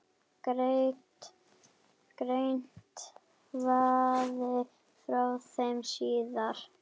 Greint verði frá þeim síðar.